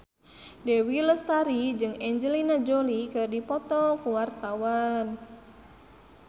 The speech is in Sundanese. Dewi Lestari jeung Angelina Jolie keur dipoto ku wartawan